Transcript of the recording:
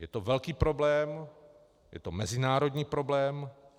Je to velký problém, je to mezinárodní problém.